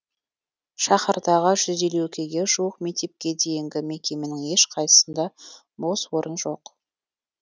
шаһардағы жүз елуге жуық мектепке дейінгі мекеменің ешқайсысында бос орын жоқ